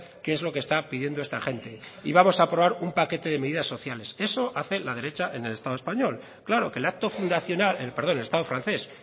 qué es lo que está pidiendo esta gente y vamos a aprobar un paquete de medidas sociales eso hace la derecha en el estado francés claro que